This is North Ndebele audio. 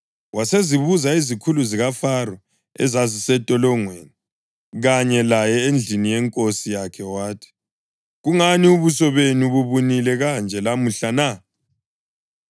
Wasezibuza izikhulu zikaFaro ezazisentolongweni kanye laye endlini yenkosi yakhe wathi, “Kungani ubuso benu bubunile kanje lamuhla na?”